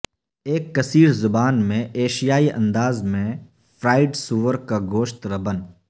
ایک کثیر زبان میں ایشیائی انداز میں فرڈ سور کا گوشت ربن